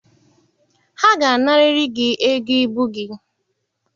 Ha ga-anarịrị gị ego ibu gị.